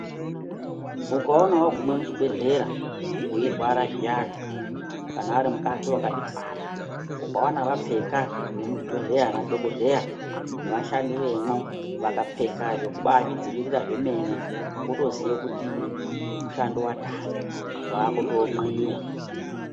Ukaona waguma muchibhedhlera weirwara zviyani, kana ari mukadzi wakazvitwara, ukwona vapfeka vemuzvibhedhlera ana dhokodheya nevashandi vemwo vakapfeka zvekubaazvidzivirira zvemene wotoziya kuti mushando watanga, wakutoonweyiwa.